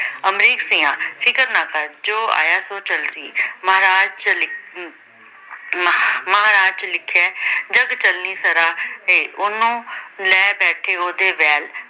ਅਮਰੀਕ ਸਿਆਂ ਫ਼ਿਕਰ ਨਾ ਕਰ, ਜੋ ਆਇਆ ਸੋਂ ਚੱਲ਼ ਸੀ ਮਹਾਰਾਜ ਜੋ ਅਮ ਜੋ ਲਿੱਖਿਆ ਜੱਗ ਚਲਣੀ ਸਰਾ ਹੈ। ਉਹਨੂੰ ਲੈ ਬੈਠੇ ਉਹਦੇ ਵੈਲ